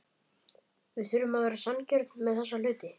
Við þurfum að vera sanngjörn með þessa hluti.